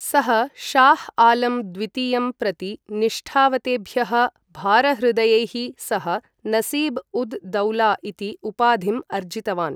सः, शाह् आलम् द्वितीयं प्रति निष्ठावतेभ्यः भारहृदयैः सह नसीब् उद् दौला इति उपाधिम् अर्जितवान्।